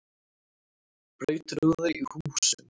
Braut rúður í húsum